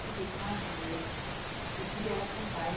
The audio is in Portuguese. Fiquei com as duas e criei elas sem pai.